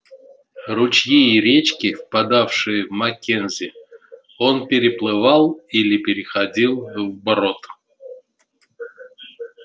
ручьи и речки впадавшие в маккензи он переплывал или переходил вброд